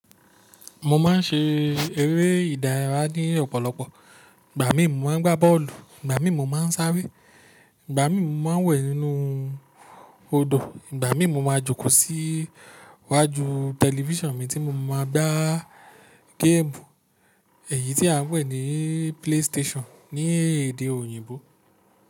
Mo ma n ṣe eré ìdárayá ní ọ̀pọ̀lọpọ̀. Ìgbà mí mo ma n gbá bọ́ọ̀lù, Ìgbà mi mo ma n sáré, Ìgbà mi mo ma n wẹ̀ nínú odò, Ìgbà mi mo ma jókòó sí iwájú tẹlifíṣàn mi tí mo ma gbé gẹ́ẹ̀mù èyí tí a n pè ní PlayStation ní èdè òyìnbó.